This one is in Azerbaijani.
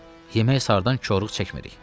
Yemək sarıdan korluq çəkmirik.